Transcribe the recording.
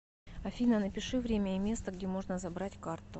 афина напиши время и место где можно забрать карту